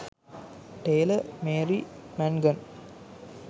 taylor marie mangan